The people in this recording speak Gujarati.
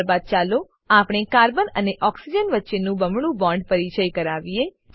ત્યારબાદ ચાલો આપણે કાર્બન અને ઓક્સિજન વચ્ચે બમણું બોન્ડ પરિચય કરાવીએ